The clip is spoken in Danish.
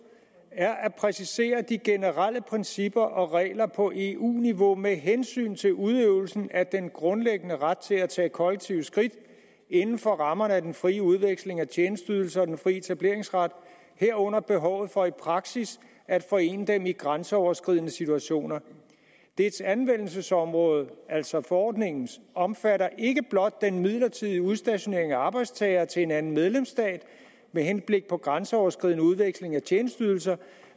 er at præcisere de generelle principper og regler på eu niveau med hensyn til udøvelsen af den grundlæggende ret til at tage kollektive skridt inden for rammerne af den fri udveksling af tjenesteydelser og den fri etableringsret herunder behovet for i praksis at forene dem i grænseoverskridende situationer dets anvendelsesområde altså forordningens omfatter ikke blot den midlertidige udstationering af arbejdstagere til en anden medlemsstat med henblik på grænseoverskridende udveksling af tjenesteydelser